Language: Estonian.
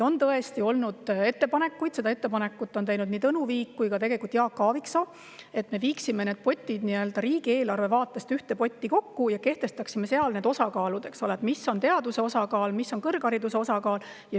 On tõesti olnud ettepanekuid – selle ettepaneku on teinud nii Tõnu Viik kui ka Jaak Aaviksoo –, et me viiksime need riigieelarve vaatest ühte potti kokku ja kehtestaksime seal osakaalud: mis on teaduse osakaal, mis on kõrghariduse osakaal.